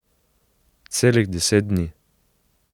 Celih deset dni ...